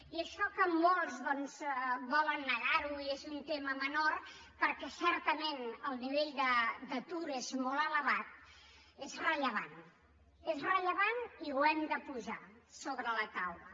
i això que molts volen negar ho i és un tema menor perquè certament el nivell d’atur és molt elevat és rellevant és rellevant i ho hem de posar sobre la taula